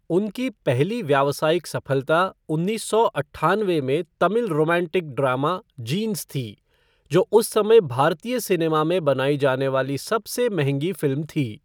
उनकी पहली व्यावसायिक सफलता उन्नीस सौ अट्ठानवे में तमिल रोमांटिक ड्रामा जींस थी, जो उस समय भारतीय सिनेमा में बनाई जाने वाली सबसे महँगी फ़िल्म थी।